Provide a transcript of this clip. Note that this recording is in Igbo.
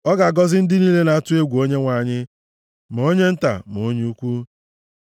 ọ ga-agọzi ndị niile na-atụ egwu Onyenwe anyị, ma onye nta ma onye ukwu.